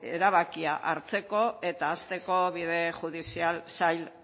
erabakia hartzeko eta hasteko bide judizial zail